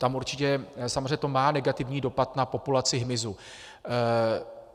Tam určitě samozřejmě to má negativní dopad na populaci hmyzu.